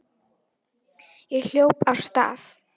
Ég hljóp af stað.